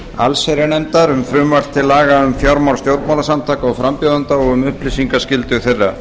allsherjarnefndar um frumvarp til laga um fjármál stjórnmálaflokka og frambjóðenda og um upplýsingaskyldu þeirra